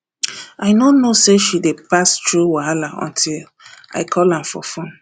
i no know sey she dey pass through wahala until i call am for fone